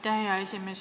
Aitäh, hea esimees!